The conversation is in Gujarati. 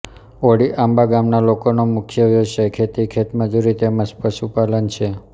ઓળીઆંબા ગામના લોકોનો મુખ્ય વ્યવસાય ખેતી ખેતમજૂરી તેમ જ પશુપાલન છે